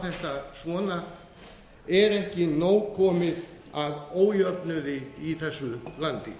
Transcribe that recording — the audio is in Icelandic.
þetta svona er ekki nóg komið af ójöfnuði í þessu landi